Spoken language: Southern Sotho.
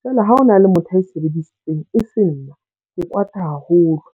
Jwale ha ho na le motho ae sebedisitseng, e se nna ke kwata haholo.